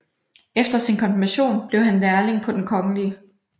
Efter sin konfirmation blev han lærling på Den kgl